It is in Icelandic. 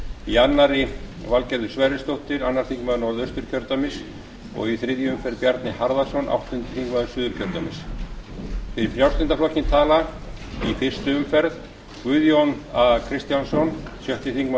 í annarri valgerður hver rrisdóttir öðrum þingmönnum norðausturkjördæmis og í þriðju umferð bjarni harðarson áttundi þingmaður suðurkjördæmis fyrir frjálslynda flokkinn tala í fyrstu umferð guðjón a kristjánsson sjötti þingmaður